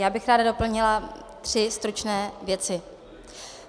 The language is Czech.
Já bych ráda doplnila tři stručné věci.